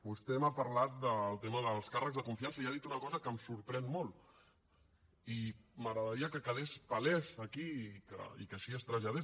vostè m’ha parlat del tema dels càrrecs de confiança i ha dit una cosa que em sorprèn molt i m’agradaria que quedés palès aquí i que així es traslladés